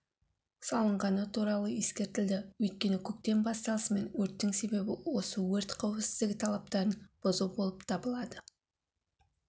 салынғаны туралы ескертілді өйткені көктем басталысымен өрттің себебі осы өрт қауіпсіздігі талаптарын бұзу болып табылады